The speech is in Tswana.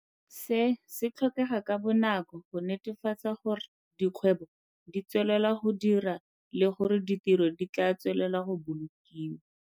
Se se tlhokega ka bonako go netefatsa gore dikgwebo di tswelela go dira le gore ditiro di tla tswelela go bolokiwa.